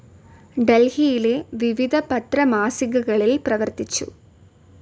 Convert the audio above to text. ഡൽഹിയിലെ വിവിധ പത്ര മാസികകളിൽ പ്രവർത്തിച്ചു.